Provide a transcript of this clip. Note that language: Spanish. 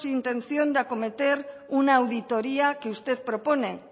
intención de acometer una auditoría que usted propone